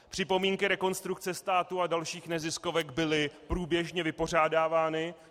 Připomínky Rekonstrukce státu a dalších neziskovek byly průběžně vypořádávány.